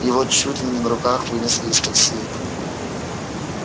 его чуть ли не на руках вынесли из такси